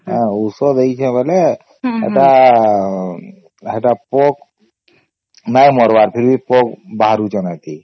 ଔଷଧ ଦେଇଛେ ବେଳେ ସେଟା ସେଟା ପୋକ ନାଇଁ ମରିବାର ଫିର ଭି ପୋକ ବାହାରୁଛନ୍ତି